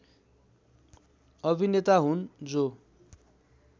अभिनेता हुन् जो